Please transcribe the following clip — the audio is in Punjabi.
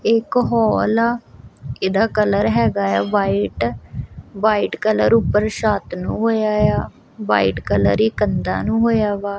ਇਕ ਹੋਲ ਇਸਦਾ ਕਲਰ ਹੈਗਾ ਵਾਈਟ ਵਾਈਟ ਕਲਰ ਛੱਤ ਨੂੰ ਹੋਇਆ ਆ ਵਾਈਟ ਕਲਰ ਹੀ ਕੰਧਾਂ ਨੂੰ ਹੋਇਆ ਵਾ ।